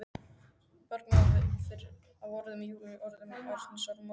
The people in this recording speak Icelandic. Bergmál af orðum Júlíu, orðum Arndísar, móður hennar.